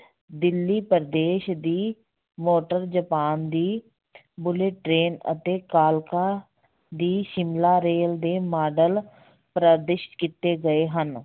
ਦਿੱਲੀ ਪ੍ਰਦੇਸ਼ ਦੀ, motor Japan ਦੀ train ਅਤੇ ਕਾਲਕਾ ਦੀ ਸ਼ਿਮਲਾ ਰੇਲ ਦੇ ਮਾਡਲ ਕੀਤੇ ਗਏ ਹਨ।